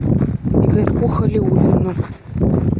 игорьку халиуллину